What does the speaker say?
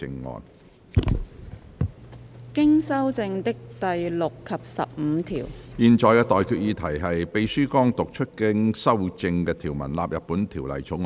我現在向各位提出的待決議題是：秘書剛讀出經修正的條文納入本條例草案。